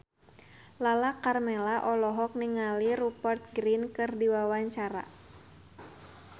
Lala Karmela olohok ningali Rupert Grin keur diwawancara